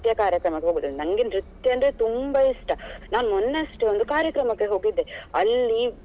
ಕಾರ್ಯಕ್ರಮಕ್ಕೆ ಹೋಗುದಂತ ನಂಗೆ ನೃತ್ಯ ಅಂದ್ರೆ ತುಂಬಾ ಇಷ್ಟ ನಾನು ಮೊನ್ನೆಯಷ್ಟೇ ಒಂದು ಕಾರ್ಯಕ್ರಮಕ್ಕೆ ಹೋಗಿದೆ ಅಲ್ಲಿ..